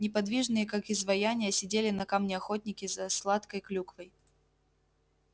неподвижные как изваяния сидели на камне охотники за сладкой клюквой